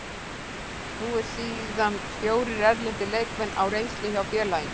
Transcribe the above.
Nú eru síðan fjórir erlendir leikmenn á reynslu hjá félaginu.